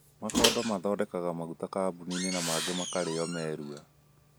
Makondo mathondekaga mauta kamuninĩ na mangĩ makarĩ o marua.